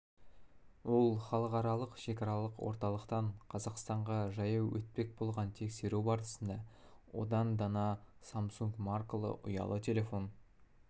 ол халықаралық шекаралық орталықтан қазақстанға жаяу өтпек болған тексеру барысында одан дана самсунг маркалы ұялы телефон